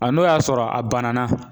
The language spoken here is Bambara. A n'o y'a sɔrɔ a banna